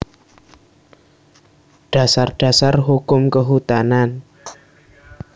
Dasar Dasar Hukum Kehutanan